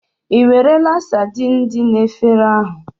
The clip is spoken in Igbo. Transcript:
Ìwerela saidin dị na efere ahụ?